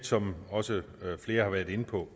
som også flere har været inde på